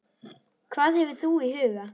Hvað hefur þú í huga?